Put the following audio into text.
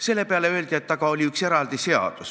Selle peale öeldi, et aga oli üks eraldi seadus.